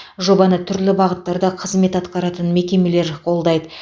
жобаны түрлі бағыттарда қызмет атқаратын мекемелер қолдайды